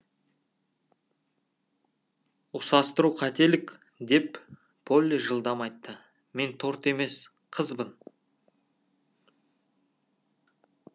ұқсастыру қателік деп полли жылдам айтты мен торт емес қызбын